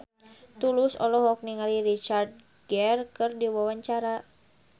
Tulus olohok ningali Richard Gere keur diwawancara